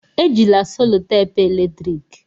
Ejila selotape eletrik!